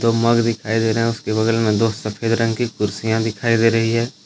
दो मग दिखाई दे रहे हैं उसके बगल में दो सफेद रंग की कुर्सियां दिखाई दे रही है।